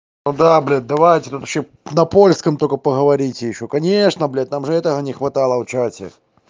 ну да блять давайте тут ещё на польском только поговорите ещё конечно блядь нам же этого не хватало в чате